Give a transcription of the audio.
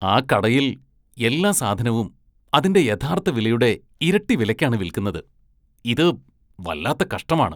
ആ കടയില്‍ എല്ലാ സാധനവും അതിന്റെ യഥാര്‍ത്ഥ വിലയുടെ ഇരട്ടി വിലയ്ക്കാണ് വില്‍ക്കുന്നത്. ഇത് വല്ലാത്ത കഷ്ടമാണ് .